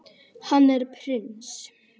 Hann er prins.